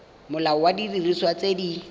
molao wa didiriswa tse di